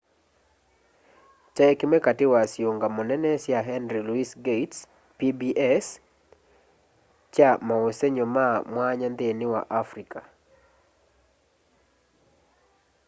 kyaĩ kĩmwe katĩ wa syĩũngamo nene sya henry lũoĩs gates' pbs kya maũsenyo ma mwanya nthĩnĩ wa afrĩca